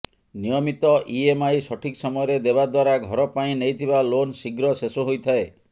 ନିୟମିତ ଇଏମଆଇ ସଠିକ୍ ସମୟରେ ଦେବା ଦ୍ବାରା ଘର ପାଇଁ ନେଇଥିବା ଲୋନ ଶୀଘ୍ର ଶେଷ ହୋଇଥାଏ